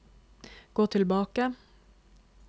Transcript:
gå tilbake